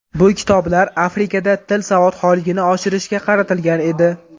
Bu kitoblar Afrikada til savodxonligini oshirishga qaratilgan edi.